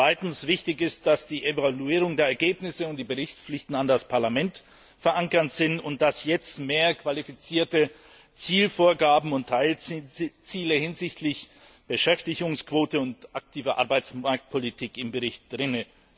Zweitens ist es wichtig, dass die Evaluierung der Ergebnisse und die Berichtspflichten an das Parlament verankert sind und dass jetzt mehr qualifizierte Zielvorgaben und Teilziele hinsichtlich Beschäftigungsquote und aktiver Arbeitsmarktpolitik im Bericht stehen.